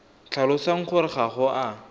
tlhalosang gore ga o a